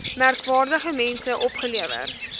merkwaardige mense opgelewer